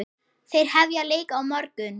Þeir hefja leik á morgun.